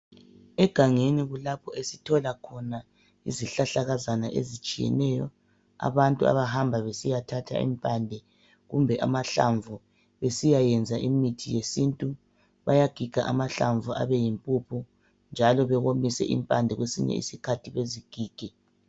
Egangeni kulapho esithola khona izihlahlakazana ezitshiyeneyo. Abantu abahamba besiyathatha impande kumbe amahlamvu besiyayenza imithi yesintu, bayagiga amahlamvu abe yimpuphu njalo bewomise impande kwesinyi isikhathi bezigige.